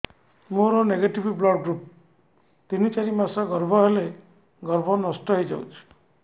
ମୋର negative blood group ତିନ ଚାରି ମାସ ଗର୍ଭ ହେଲେ ଗର୍ଭ ନଷ୍ଟ ହେଇଯାଉଛି